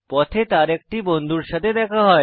পথে তার একটি বন্ধুর সাথে দেখা হয়